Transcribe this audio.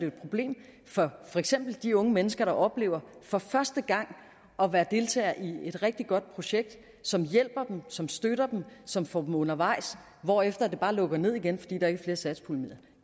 et problem for for eksempel de unge mennesker der oplever for første gang at være deltager i et rigtig godt projekt som hjælper dem som støtter dem som får dem undervejs hvorefter det bare lukker ned igen fordi der ikke er flere satspuljemidler